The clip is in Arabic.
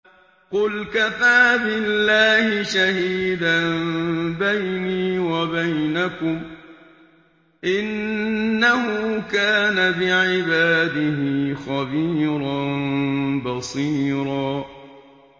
قُلْ كَفَىٰ بِاللَّهِ شَهِيدًا بَيْنِي وَبَيْنَكُمْ ۚ إِنَّهُ كَانَ بِعِبَادِهِ خَبِيرًا بَصِيرًا